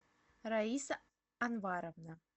раиса анваровна